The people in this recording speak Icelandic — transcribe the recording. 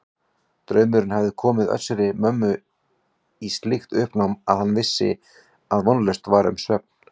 Draumurinn hafði komið Össuri-Mömmu í slíkt uppnám að hann vissi að vonlaust var um svefn.